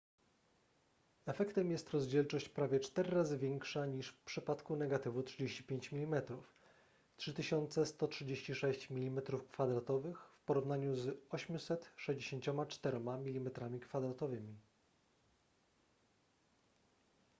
efektem jest rozdzielczość prawie cztery razy większa niż w przypadku negatywu 35 mm 3136 mm2 w porównaniu z 864 mm2